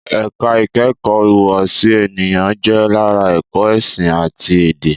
ẹ̀ka ìkẹ́kọ̀ọ́ ìhùwàsí ènìyàn jẹ́ lára ẹ̀kọ́ ẹ̀sìn àti èdè